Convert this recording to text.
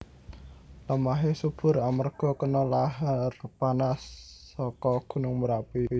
Lemahé subur amarga kena lahar panas saka gunung Merapi